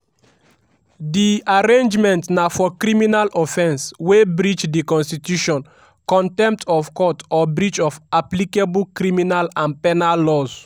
di arraignment na for criminal offence wey breach di constitution/contempt of court or breach of applicable criminal and penal laws."